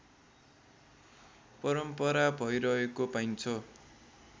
परम्परा भइरहेको पाइन्छ